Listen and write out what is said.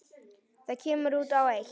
Það kemur út á eitt.